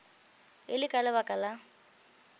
e le ka lebaka la